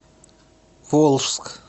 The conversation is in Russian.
волжск